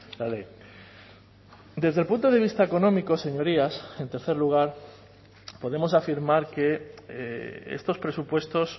la ley desde el punto de vista económico señorías en tercer lugar podemos afirmar que estos presupuestos